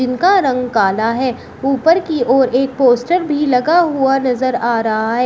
इनका रंग काला है ऊपर की ओर एक पोस्टर भी लगा हुआ नजर आ रहा है।